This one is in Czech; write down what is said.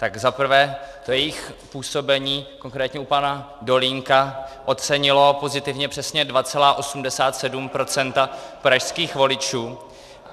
Tak za prvé to jejich působení, konkrétně u pana Dolínka, ocenilo pozitivně přesně 2,87 % pražských voličů.